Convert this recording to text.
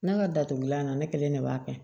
Ne ka datugulan na ne kelen de b'a kɛ